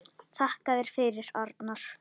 Þakka þér fyrir, Arnar.